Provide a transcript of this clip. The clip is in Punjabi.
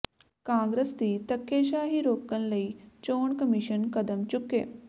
ਕਾਂਗਰਸ ਦੀ ਧੱਕੇਸ਼ਾਹੀ ਰੋਕਣ ਲਈ ਚੋਣ ਕਮਿਸ਼ਨ ਕਦਮ ਚੁੱਕੇ